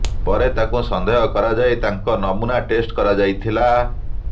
ପରେ ତାଙ୍କୁ ସନ୍ଦେହ କରାଯାଇ ତାଙ୍କ ନମୁନା ଟେଷ୍ଟ କରାଯାଇଥିଲା